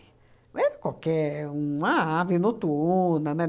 Não era qualquer uma ave noturna, né?